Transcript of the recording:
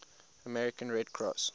american red cross